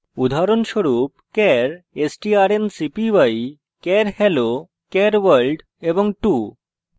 উদাহরণস্বরূপ char strncpy char hello char world 2;